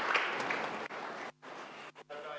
Istungi lõpp kell 11.00.